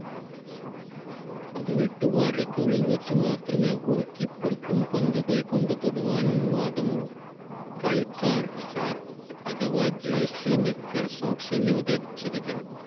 പതിനെട്ട് വാരയ്ക്കുള്ളിൽ വെച്ച് മാത്രമേ goal keeper ക്കും പന്ത് കൈകൊണ്ട് തൊടുവാൻ അനുവാദമുള്ളൂ. കളിക്കാർ shirt അഥവാ jersey നിക്കർ socks എന്നിവ ധരിച്ചിരിക്കണം.